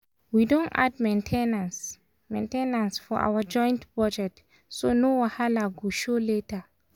we don add main ten ance main ten ance for our joint budget so no wahala go show later.